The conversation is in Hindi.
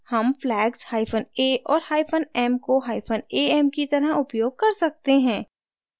हम flags hyphen a और hyphen m को hyphen am की तरह उपयोग कर सकते हैं